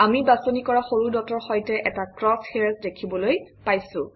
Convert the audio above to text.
আমি বাছনি কৰা সৰু ডটৰ সৈতে এটা ক্ৰচ হেইৰ্ছ দেখিবলৈ পাইছোঁ